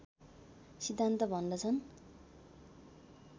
सिद्धान्त भन्दछन्